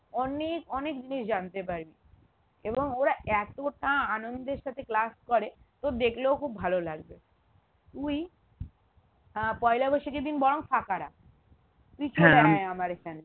অনেক অনেক জিনিস জানতে পারবি এবং ওরা এতটা আনন্দের সাথে class করে তোর দেখলেও খুব ভালো লাগবে তুই আহ পয়লা বৈশাখের দিন বরং ফাঁকা রাখ তুই আমার এখানে